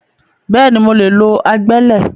Bẹ́ẹ̀ni, mo lè lo agbẹ́lẹ̀